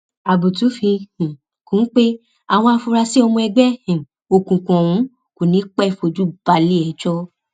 abútu fi um kún un pé àwọn afurasí ọmọ ẹgbẹ um òkùnkùn ọhún kò ní í pẹẹ fojú balẹẹjọ